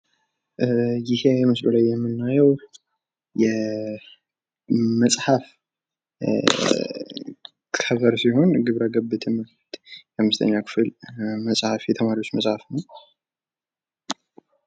ይህ ምስሉ ላይ የምናየው መጽሐፍ ከበር ሲሆን ግብረ ገብ ትምህርት የአምስተኛ ክፍል መጽሐፍ የተማሪዎች መጽሀፍ ነው፣